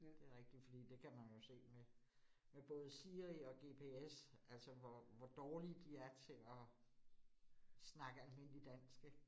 Det rigtigt, fordi det kan man jo se med med både Siri og GPS altså, hvor hvor dårlige de er til at snakke almindeligt dansk ik